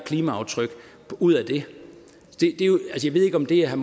klimaaftryk ud af det jeg ved ikke om det er